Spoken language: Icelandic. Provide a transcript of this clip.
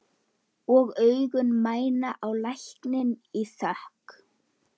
Veronika, hversu margir dagar fram að næsta fríi?